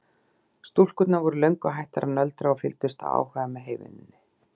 Stúlkurnar voru löngu hættar að nöldra og fylgdust af áhuga með heyvinnunni.